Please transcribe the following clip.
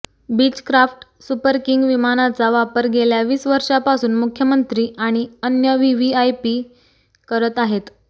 Beechcraft Super King विमानाचा वापर गेल्या वीस वर्षांपासून मुख्यमंत्री आणि अन्य व्हीव्हीआयपी करत आहेत